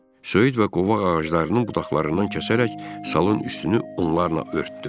Söyüd və qovaq ağaclarının budaqlarından kəsərək salın üstünü onlarla örtdü.